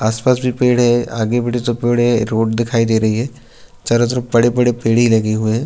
आस-पास भी पेड़ हैं आगे बड़े से पेड़ हैं रोड दिखाई दे रही है चारो तरफ बड़े-बड़े पेड़े लगे हुए हैं।